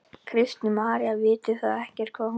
Kristín María: Vitið þið ekkert hvað hún heitir?